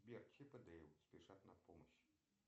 сбер чип и дейл спешат на помощь